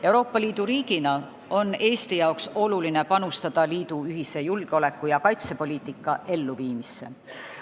Euroopa Liidu riigina on Eesti jaoks oluline panustada liidu ühise julgeoleku- ja kaitsepoliitika elluviimisse.